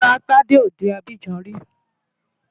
Rárá, Tádé ò dé Abidjan rí.